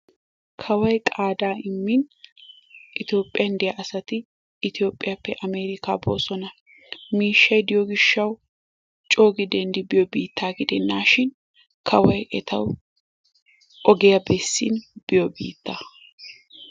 Kawoy qaadaa immin itoophiyan diya asati itoophiyappe amerikkaa boosona. miishshay diyo gishawu coogi denddi biyo biittaa gidennan kawoy etawu ogiya bessin biyo biittaa.